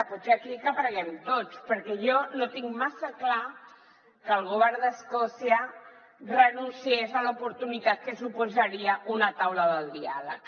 potser aquí que n’aprenguem tots perquè jo no tinc massa clar que el govern d’escòcia renunciés a l’oportunitat que suposaria una taula del diàleg